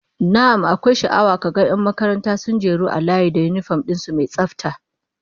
Na'am, akwai sha'awa ka ga 'yan makaranta sun jeru a layi da yinifom din su mai tsafta